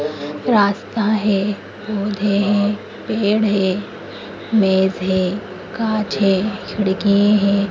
रास्ता है पौधे हैं पेड़ हैं मेज है काँच है खिड़किएँ हैं।